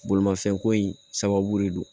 Bolimafɛnko in sababu de don